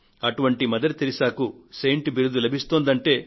అటువంటి మదర్ టెరెసాకు సెయింట్ బిరుదు లభిస్తోందంటే